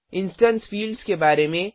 instance fields के बारे में